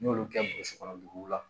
N y'olu kɛ burusi kɔnɔ duguw la